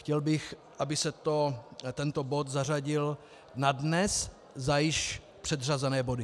Chtěl bych, aby se tento bod zařadil na dnes za již předřazené body.